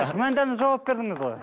күмәнданып жауап бердіңіз ғой